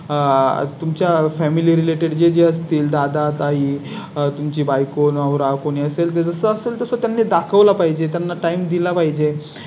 आह. तुमच्या Family related जे असतील दादा ताई तुमची बायको नवरा कोणी असेल तर तसं असेल तर त्यांनी दाखवला पाहिजे त्यांना Time दिला पाहिजे आह